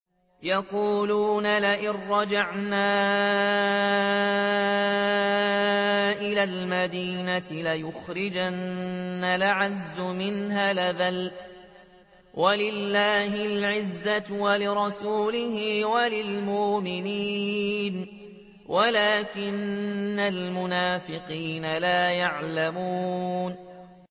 يَقُولُونَ لَئِن رَّجَعْنَا إِلَى الْمَدِينَةِ لَيُخْرِجَنَّ الْأَعَزُّ مِنْهَا الْأَذَلَّ ۚ وَلِلَّهِ الْعِزَّةُ وَلِرَسُولِهِ وَلِلْمُؤْمِنِينَ وَلَٰكِنَّ الْمُنَافِقِينَ لَا يَعْلَمُونَ